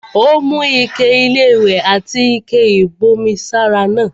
Ó mú ike-iléwẹ̀ àti ike-ìbomi sára náà.